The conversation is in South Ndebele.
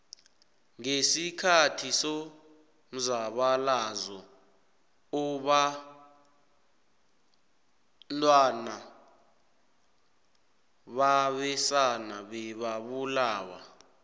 ngesikhathi somzabalazo obantwana babesana bebabulawa